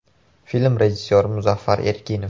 Film rejissyori Muzaffar Erkinov.